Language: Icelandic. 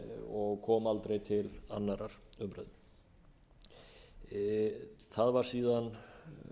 og kom aldrei til annarrar umræðu það var síðan